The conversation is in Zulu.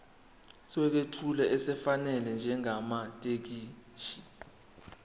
sokwethula esifanele njengamathekisthi